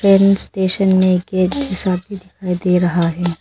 N station में दिखाई दे रहा है।